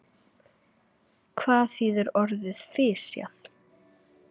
Hvað þýðir orðið fisjað?